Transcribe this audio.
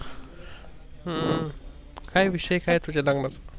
हम्म काय विषय काय आहे तुझ्या लग्नाचा?